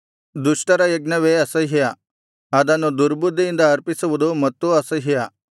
ದುಷ್ಟರ ಯಜ್ಞವೇ ಅಸಹ್ಯ ಅದನ್ನು ದುರ್ಬುದ್ಧಿಯಿಂದ ಅರ್ಪಿಸುವುದು ಮತ್ತೂ ಅಸಹ್ಯ